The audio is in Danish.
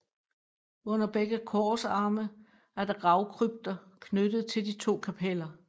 Under begge korsarme er der gravkrypter knyttet til de to kapeller